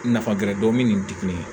Nafa gɛrɛ dɔɔnin nin ti kelen ye